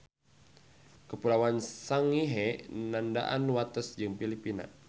Kapuloan Sangihe nandaan wates jeung Pilipina.